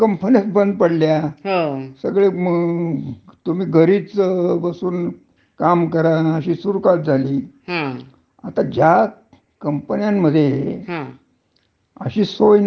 अशी सोय नाही. म्हणजे जिथे प्रत्यक्ष जाऊन उत्पादन कराव लागत, हं, हं. कारखान्यात जाऊन. हं. तर अश्या ज्या कंपन्या होत्या, हं.